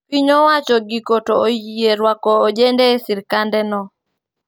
Piny owacho giko to oyie rwako ojende e sirkande no